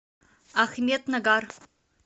ахмеднагар